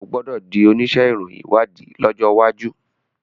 o gbódò dì onísé ìròyìn ìwádìí lójó waju.